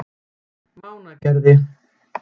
Mánagerði